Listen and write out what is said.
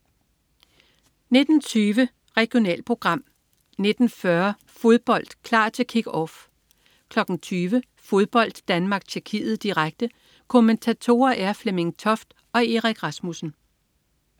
19.20 Regionalprogram 19.40 Fodbold: Klar til Kick-Off 20.00 Fodbold: Danmark-Tjekkiet, direkte. Kommentatorer er Flemming Toft og Erik Rasmussen